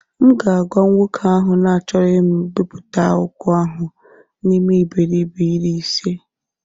M ga-agwa nwoke ahụ na achọrọ m ibipụta akwụkwọ ahụ n'ime iberibe iri ise